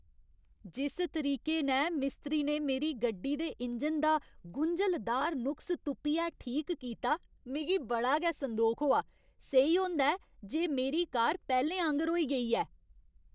जिस तरीके नै मिस्त्री ने मेरी गड्डी दे इंजन दा गुंझलदार नुक्स तुप्पियै ठीक कीता, मिगी बड़ा गै संदोख होआ। सेही होंदा ऐ जे मेरी कार पैह्लें आंह्गर होई गेई ऐ।